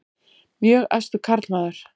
Mjög æstur karlmaður.